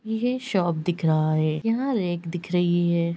यह शॉप दिख रहा है। यहाँ रैक दिख रही है।